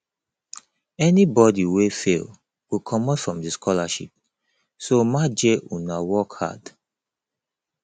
anybody wey fail go comot from the scholarship so maje una work hard